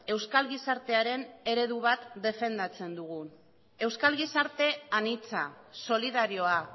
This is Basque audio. euskal gizartearen eredu bat defendatzen dugu euskal gizarte anitza solidarioa